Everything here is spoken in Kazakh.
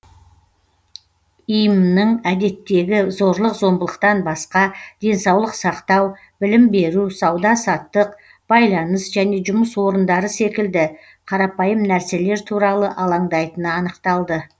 им нің әдеттегі зорлық зомбылықтан басқа денсаулық сақтау білім беру сауда саттық байланыс және жұмыс орындары секілді қарапайым нәрселер туралы алаңдайтыны анықталды